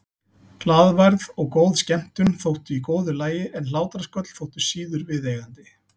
Glaðværð og góð skemmtun þóttu í góðu lagi en hlátrasköll þóttu síður viðeigandi.